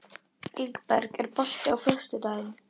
Ingberg, er bolti á föstudaginn?